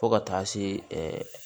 Fo ka taa se